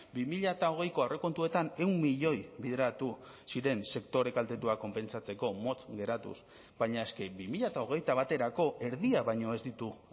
bi mila hogeiko aurrekontuetan ehun milioi bideratu ziren sektore kaltetuak konpentsatzeko motz geratuz baina eske bi mila hogeita baterako erdia baino ez ditu